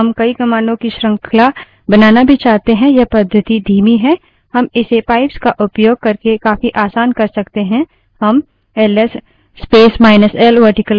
हम इसे pipes का उपयोग करके काफी आसान कर सकते हैं हम L S space minus L vertical bar WC space minus L ls space minus l vertical bar wc space minus l लिखते हैं